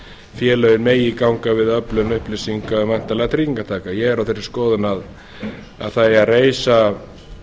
félögin megi ganga við öflun upplýsinga væntanlegra tryggingartaka ég er á þeirri skoðun að það eigi að reisa